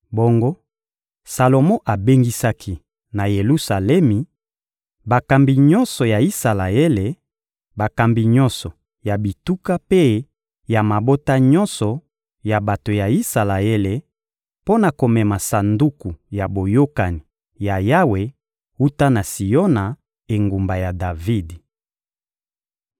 Bongo Salomo abengisaki, na Yelusalemi, bakambi nyonso ya Isalaele, bakambi nyonso ya bituka mpe ya mabota nyonso ya bato ya Isalaele, mpo na komema Sanduku ya Boyokani ya Yawe wuta na Siona, engumba ya Davidi.